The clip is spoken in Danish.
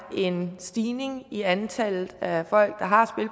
en stigning i antallet af folk der har